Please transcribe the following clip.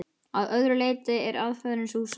Að öðru leyti er aðferðin sú sama.